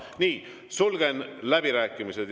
Nii, sulgen läbirääkimised.